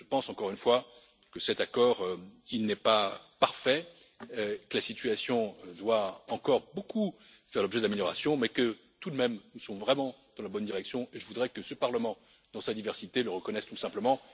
Je pense encore une fois que cet accord n'est pas parfait, que la situation doit faire encore l'objet de nombreuses améliorations, mais que tout de même, nous sommes vraiment dans la bonne direction, et je voudrais que ce Parlement dans sa diversité le reconnaisse tout simplement.